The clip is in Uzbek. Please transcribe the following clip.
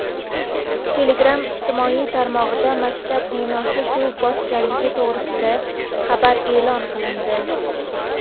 Telegram ijtimoiy tarmog‘ida maktab binosi suv bosganligi to‘g‘risida xabar e’lon qilindi.